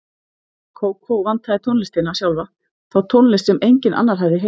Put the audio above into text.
Kókó vantaði tónlistina sjálfa, þá tónlist sem enginn annar hafði heyrt.